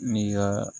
N'i ka